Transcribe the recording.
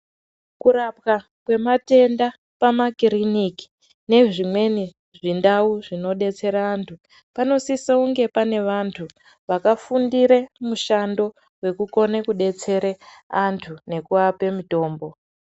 Kurapwa kwematenda pamakiriniki nezvimweni zvindau zvinodetsera antu panosisa kunge pane vantu vakafundire mushando wekukone kudetsere antu nekuape mitombo.